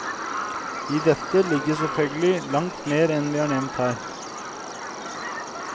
I dette ligger selvfølgelig langt mer enn vi har nevnt her.